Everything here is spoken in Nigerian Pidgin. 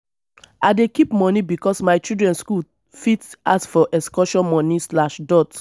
i dey keep moni because my children skool fit ask for excursion moni.